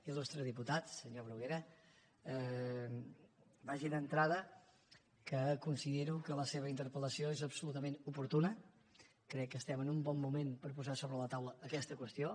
il·lustre diputat senyor bruguera vagi d’entrada que considero que la seva interpellació és absolutament oportuna crec que estem en un bon moment per posar sobre la taula aquesta qüestió